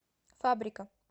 фабрика